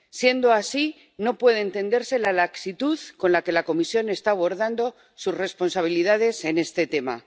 Siendo así, no puede entenderse la laxitud con la que la Comisión está abordando sus responsabilidades en este tema.